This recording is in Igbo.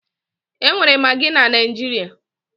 E nwere magị na Naịjirịa